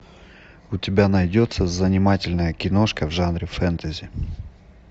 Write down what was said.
у тебя найдется занимательная киношка в жанре фэнтези